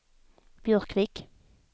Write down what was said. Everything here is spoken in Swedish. Björkvik